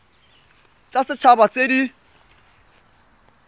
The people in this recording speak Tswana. tsa set haba tse di